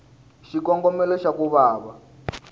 xikongomelo xa ku va va